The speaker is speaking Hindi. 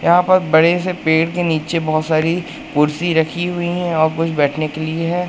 यहाँ पर बड़े से पेड़ के नीचे बहोत सारी कुर्सी रखीं हुई हैं और कुछ बैठने के लिए हैं।